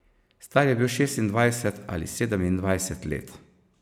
Star je bil šestindvajset ali sedemindvajset let.